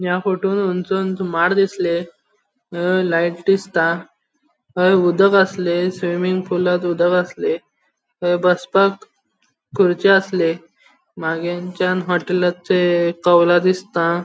या फोटोन हन्गसूनसून माड दिसले अ लाइट दिसता थंय उदक आसले स्विमिंग पूलात उदक आसले थंय बसपाक खुरच्यो आसले मागिरचान होटलाचे कौला दिसता.